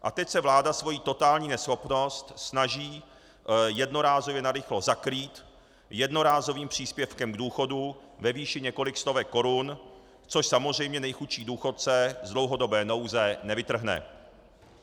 A teď se vláda svoji totální neschopnost snaží jednorázově narychlo zakrýt jednorázovým příspěvkem k důchodu ve výši několik stovek korun, což samozřejmě nejchudší důchodce z dlouhodobé nouze nevytrhne.